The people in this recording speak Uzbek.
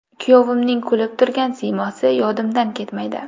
Kuyovimning kulib turgan siymosi yodimdan ketmaydi.